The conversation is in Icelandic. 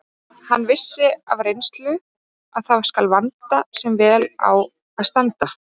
Hann vissi af reynslu að það skal vanda sem vel á að standa.